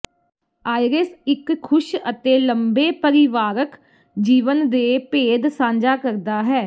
iris ਇੱਕ ਖੁਸ਼ ਅਤੇ ਲੰਬੇ ਪਰਿਵਾਰਕ ਜੀਵਨ ਦੇ ਭੇਦ ਸਾਂਝਾ ਕਰਦਾ ਹੈ